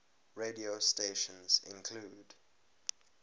radio stations include